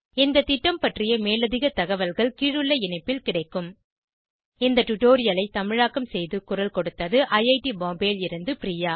இந்த திட்டம் பற்றிய மேலதிக தகவல்கள் கீழுள்ள இணைப்பில் கிடைக்கும் httpspoken tutorialorgNMEICT Intro இந்த டுடோரியலை தமிழாக்கம் செய்து குரல் கொடுத்தது ஐஐடி பாம்பேவில் இருந்து பிரியா